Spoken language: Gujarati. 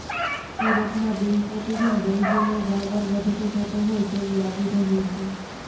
સુરતમાં દિનપ્રતિદિન ડેન્ગ્યુનો વાવર વધતો જતો હોય તેવુ લાગી રહ્યુ છે